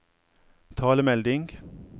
talemelding